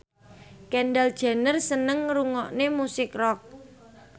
Kendall Jenner seneng ngrungokne musik rock